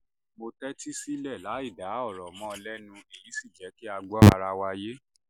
mo tẹ́tí sílẹ̀ láìdá ọ̀rọ̀ mọ́ ọn lẹ́nu èyí sì jẹ́ kí a gbọ́ ara wa yé